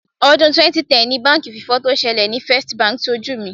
Ọdún 2010 ni báǹkì fífọ́ tó ṣẹlẹ̀ ni First Bank ṣojú mi.